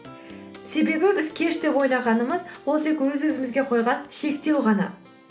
себебі біз кеш деп ойлағанымыз ол тек өз өзімізге қойған шектеу ғана